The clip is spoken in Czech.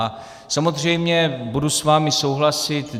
A samozřejmě budu s vámi souhlasit.